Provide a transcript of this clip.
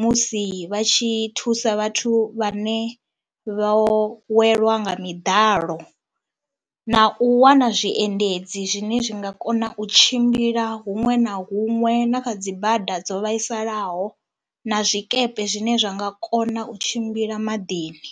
musi vha tshi thusa vhathu vhane vho welwa nga miḓalo na u wana zwiendedzi zwine zwi nga kona u tshimbila huṅwe na huṅwe na kha dzi bada dzo vhaisalaho na zwikepe zwine zwa nga kona u tshimbila maḓini.